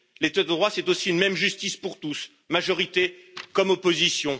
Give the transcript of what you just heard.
L'état de droit c'est aussi une même justice pour tous, majorité comme opposition.